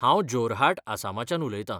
हांव जोरहाट आसामाच्यान उलयता.